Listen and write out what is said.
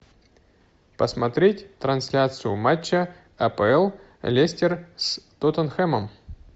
посмотреть трансляцию матча апл лестер с тоттенхэмом